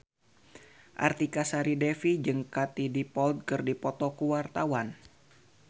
Artika Sari Devi jeung Katie Dippold keur dipoto ku wartawan